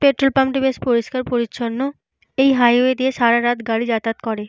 Petrol pump টি বেশ পরিষ্কার পরিচ্ছন্ন। এই হাইওয়ে দিয়ে সারারাত গাড়ি যাতায়াত করে।